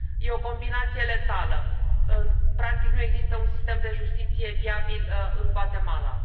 E o combinație letală, practic nu există un sistem de justiție viabil în Guatemala.